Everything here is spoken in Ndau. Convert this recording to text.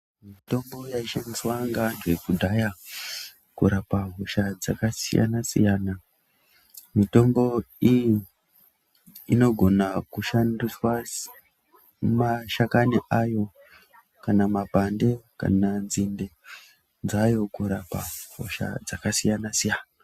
Mitombo yaishandiswa ngeantu ekudhaya kurapa hosha dzakasiyana-siyana. Mitombo iyi inogona kushandiswa semashakani ayo kana mapande kana nzinde dzayo, kurapa hosha dzakasiyana-siyana.